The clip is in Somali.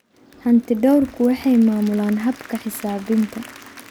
Hantidhawrku waxay maamulaan habka xisaabinta.